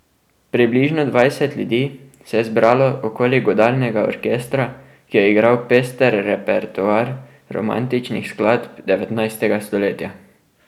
Približno dvajset ljudi se je zbralo okoli godalnega orkestra, ki je igral pester repertoar romantičnih skladb devetnajstega stoletja.